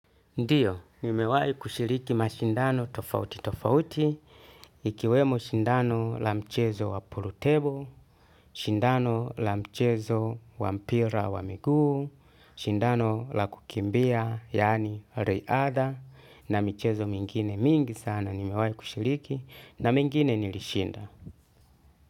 Ndio, nimewahi kushiriki mashindano tofauti tofauti, ikiwemo shindano la mchezo wa pulutebo, shindano la mchezo wa mpira wa miguu, shindano la kukimbia, yaani riadha, na michezo mingine mingi sana nimewahi kushiriki, na mengine nilishinda.